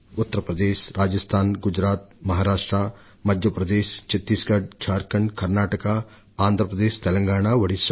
Uttar Pradesh Rajasthan Gujarat Maharashtra Madhya Pradesh Chhattisgarh Jharkhand Karnataka Andhra Pradesh Telangana Odisha